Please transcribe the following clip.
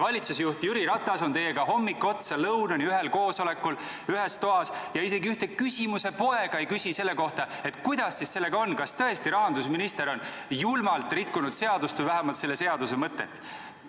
Valitsusjuht Jüri Ratas on teiega hommikust lõunani ühes toas ühel koosolekul ja isegi üht küsimuse poega ei küsi selle kohta, et kuidas siis sellega on, kas rahandusminister on tõesti julmalt rikkunud seadust või vähemalt selle seaduse mõtet.